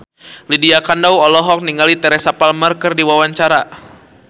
Lydia Kandou olohok ningali Teresa Palmer keur diwawancara